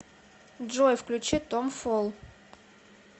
джой включи том фол